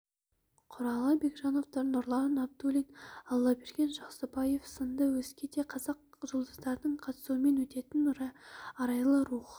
құралай бекжановтар нұрлан абдуллин аллаберген жақсыбаев сынды өзге де қазақ жұлдыздарының қатысуымен өтетін арайлы рух